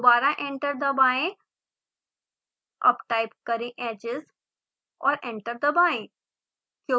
दोबारा एंटर दबाएं अब टाइप करें edges और एंटर दबाएं